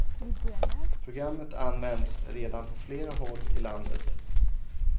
Programmet används redan på flera håll i landet.